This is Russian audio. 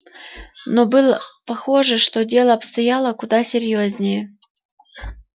но было похоже что дело обстояло куда серьёзнее